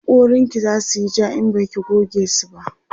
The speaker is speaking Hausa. hakoran ki zasuyi ja in Baki goge su